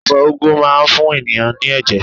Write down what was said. Èfó ugwu máa n fún ènìyãn ní èjè